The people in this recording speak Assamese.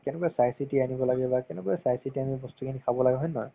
কেনেকুৱা চাইচিতি আনিব লাগে বা কেনেকুৱা চাইচিতি আমি বস্তুখিনি খাব লাগে হয় নে নহয়